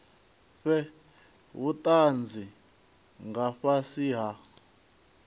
fhe vhutanzi nga fhasi ha